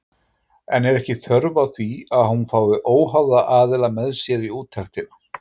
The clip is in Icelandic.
En er ekki þörf á því að hún fái óháða aðila með sér í úttektina?